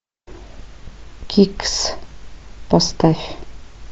кикс поставь